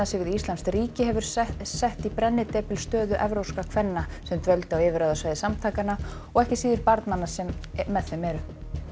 sig við íslamskt ríki hefur sett sett í brennidepil stöðu evrópskra kvenna sem dvöldu á yfirráðasvæði samtakanna og ekki síður barnanna sem með þeim eru